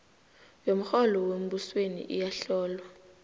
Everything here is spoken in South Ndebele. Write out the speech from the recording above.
yomrholo wembusweni iyahlolwa